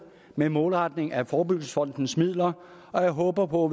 med målretningen af forebyggelsesfondens midler og jeg håber på